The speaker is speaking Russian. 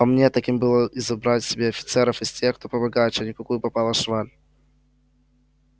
по мне так им бы надо избрать себе офицеров из тех кто побогаче а не какую попало шваль